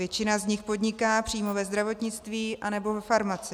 Většina z nich podniká přímo ve zdravotnictví anebo ve farmacii.